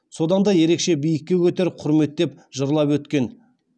содан да ерекше биікке көтер құрметтеп жырлап өткен